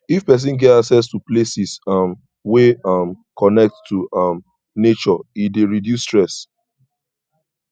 if persin get access to places um wey um connect to um nature e de reduce stress